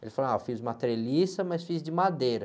Ele falou, fiz uma treliça, mas fiz de madeira.